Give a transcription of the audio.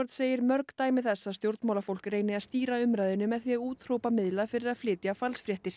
segir mörg dæmi þess að stjórnmálafólk reyni að stýra umræðunni með því að úthrópa miðla fyrir að flytja falsfréttir